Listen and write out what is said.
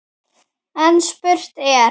En spurt er